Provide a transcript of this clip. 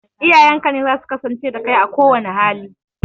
Iyayenka ne zasu kasance da kai a kowanne hali